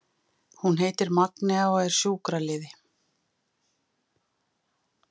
Hún heitir Magnea og er sjúkraliði.